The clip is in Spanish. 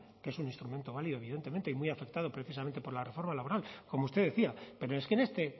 que es un instrumento válido evidentemente y muy afectado precisamente por la reforma laboral como usted decía pero es que en este